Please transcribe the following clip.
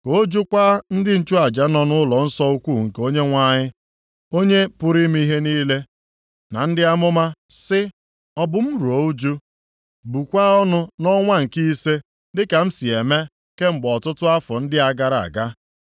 ka ọ jụkwaa ndị nchụaja nọ nʼụlọnsọ ukwu nke Onyenwe anyị, Onye pụrụ ime ihe niile, na ndị amụma, sị, “Ọ bụ m ruo ụjụ, bukwaa ọnụ nʼọnwa nke ise, dịka m si eme kemgbe ọtụtụ afọ ndị a gara aga?”